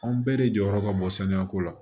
Anw bɛɛ de jɔyɔrɔ ka bɔ sanuyako la